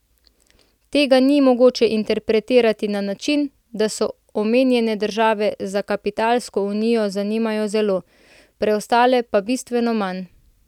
Tega ni mogoče interpretirati na način, da se omenjene države za kapitalsko unijo zanimajo zelo, preostale pa bistveno manj.